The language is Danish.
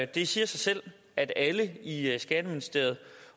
det siger sig selv at alle i skatteministeriet